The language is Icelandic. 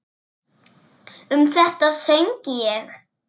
Um þetta söng ég: